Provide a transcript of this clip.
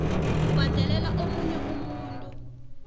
ubhadelela omunye umuntu